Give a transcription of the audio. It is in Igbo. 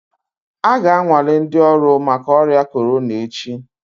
A ga-anwale ndị ọrụ maka ọrịa corona echi